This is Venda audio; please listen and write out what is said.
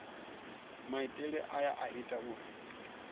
maitele aya a ita uri